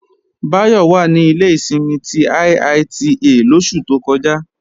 Báyọ̀ wà ní ilé ìsinmi ti IITA lóṣù tó kọjá